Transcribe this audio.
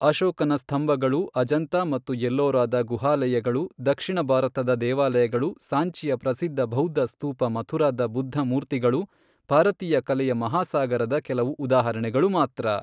ಅಶೋಕನ ಸ್ಥಂಭಗಳು ಅಜಂತಾ ಮತ್ತು ಎಲ್ಲೋರಾದ ಗುಹಾಲಯಗಳು ದಕ್ಷಿಣ ಭಾರತದ ದೇವಾಲಯಗಳು ಸಾಂಚಿಯ ಪ್ರಸಿದ್ಧ ಬೌದ್ಧ ಸ್ಥೂಪ ಮಥುರಾದ ಬುದ್ಧನ ಮೂರ್ತಿಗಳು ಭಾರತೀಯ ಕಲೆಯ ಮಹಾಸಾಗರದ ಕೆಲವು ಉದಾಹರಣೆಗಳು ಮಾತ್ರ.